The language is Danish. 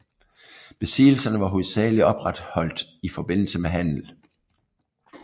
Besiddelserne var hovedsageligt opretholdt i forbindelse med handel